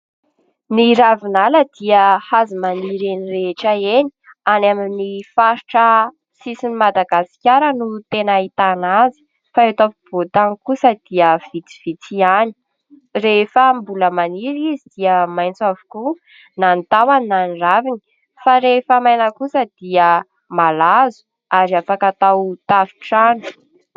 Ny ravinala dia azo maniry eny rehetra eny, any amin'ny faritra sisin'i Madagasikara no tena ahitana azy fa eto afovoan-tany kosa dia vitsivitsy ihany. Rehefa mbola maniry izy dia maitso avokoa na ny tahony na ny raviny fa rehefa maina kosa dia malazo ary afaka atao tafon-trano.